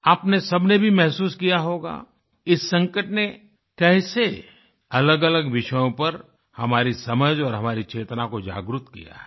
आपने सबने भी महसूस किया होगा इस संकट ने कैसे अलगअलग विषयों पर हमारी समझ और हमारी चेतना को जागृत किया है